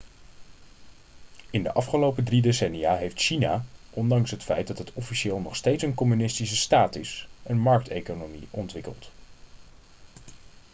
in de afgelopen drie decennia heeft china ondanks het feit dat het officieel nog steeds een communistische staat is een markteconomie ontwikkeld